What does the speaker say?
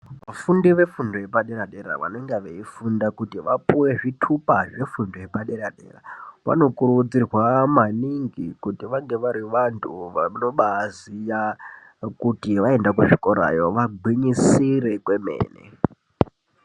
Vafundi vefundo yepadera-dera vanenge veifunda kuti vapuwe zvitupa zvefundo yepadera-dera vanokurudzirwa maningi kuti vange vari vantu vanobaziya kuti vaenda kuzvikorayo vagwinyisire kwemene.